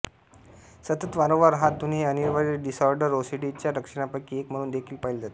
सतत वारंवार हात धुणे हे अनिवार्य डिसऑर्डर ओसीडी च्या लक्षणांपैकी एक म्हणून देखील पाहिले जाते